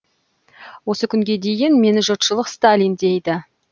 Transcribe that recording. осы күнге дейін мені жұртшылық сталин дейді